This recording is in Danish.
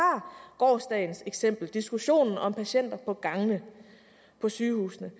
gårsdagens eksempel med diskussionen om patienter på gangene på sygehusene